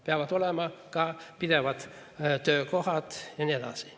Peavad olema ka püsivad töökohad ja nii edasi.